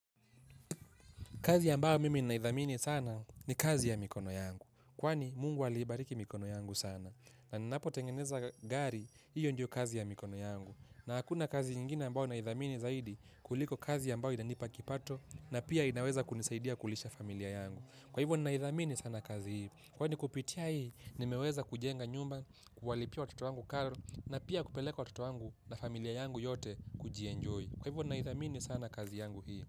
Kazi ambayo mimi naidhamini sana ni kazi ya mikono yangu. Kwani Mungu aliibariki mikono yangu sana. Na ninapotengeneza gari, hiyo ndio kazi ya mikono yangu. Na hakuna kazi ingine ambayo naidhamini zaidi kuliko kazi ambayo inanipa kipato na pia inaweza kunisaidia kulisha familia yangu. Kwa hivyo naidhamini sana kazi hivyo. Kwani kupitia hii, nimeweza kujenga nyumba, kuhalipia watoto wangu karo na pia kupeleka watoto wangu na familia yangu yote kujienjoy. Kwa hivyo naidhamini sana kazi yangu hii.